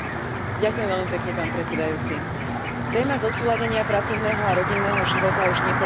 Téma zosúladenia pracovného a rodinného života už niekoľko dní obzvlášť rezonuje na Slovensku.